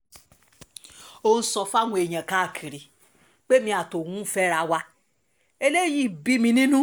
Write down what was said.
ó ń sọ fáwọn èèyàn káàkiri pé èmi àti òun ń fẹ́ra wa eléyìí bí mi nínú